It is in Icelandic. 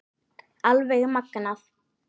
Alveg magnað!